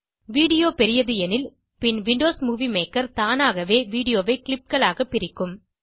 video பெரியது எனில் பின் விண்டோஸ் மூவி மேக்கர் தானாகவே வீடியோ ஐ clipகளாக பிரிக்கும்